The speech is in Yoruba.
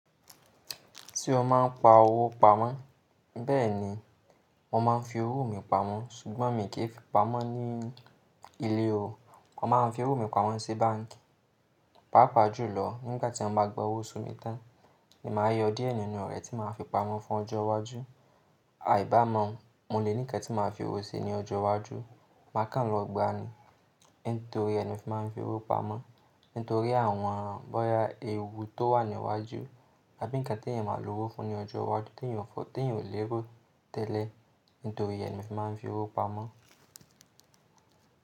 Tí o máa ń pa owó pamọ́, bẹ́ẹ̀ ni wọ́n máa ń fi owó mi pamọ́ ṣùgbọ́n mí kì í fi pamọ́ ní ilé o. Wọ́n máa ń fi owó mi pamọ́ sí báǹkì. Pápa jù lọ nígbà tí mọ́ bá gba owó osu mi tán, èmi máa yọ díẹ̀ nínú rẹ̀ tí màá fi pamọ́ fún ọjọ́ iwájú. Àìbá mọ́, mo lè ní ǹkan tí màá fi owó ṣe ní ọjọ́ iwájú, màá kàn lọ gbani nítorí ẹ ni mo fi máa ń fi owó pamọ́. Nítorí àwọn bọ́ya èwù tó wà ní iwájú àbí ǹkan tí èèyàn máa lo owó fún ní ọjọ́ iwájú tí èèyàn ò lè ro tẹ́lẹ̀ nítorí ẹnu fi máa ń fi owó pamọ́